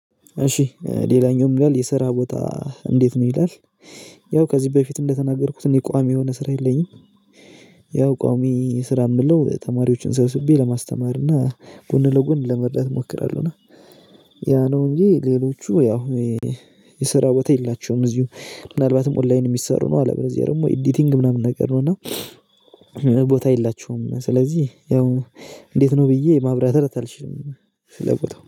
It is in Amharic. እሺ ሌላኛውም ይላል የሰራ ቦታ እንዴት ነው ይላል ያው ከዚህ በፊት እንደተናገርኩት እኔ ቋሚ የሆነ ስራ የለኝም። ያው ቋሚ ስራ የምለው ተማሪዎችን ሰብስቤ ለማስተማር እና ጎን ለጎን ለመርዳት እሞክራለሁ። እና ያ ነው እንጂ ሌሎቹ ያው የስራ ቦታ የላቸውም። እዚሁ ምናልባትም ኦንላይን የሚሰሩ ነው። አለበለዚያ ደግሞ ኤዲቲንግ ምናምን ነገር ነው። እና ቦታ የላቸውም ስለዚህ ያው እንዴት ነው ብዬ ማብራራት አልችልም። ስለቦታው